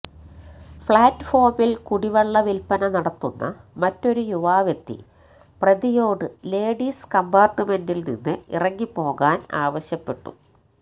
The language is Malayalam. പ്ലാറ്റ്ഫോമില് കുടിവെള്ള വില്പ്പന നടത്തുന്ന മറ്റൊരു യുവാവെത്തി പ്രതിയോട് ലേഡീസ് കംപാര്ട്ട്മെന്റില്നിന്ന് ഇറങ്ങിപ്പോകാന് ആവശ്യപ്പെട്ടു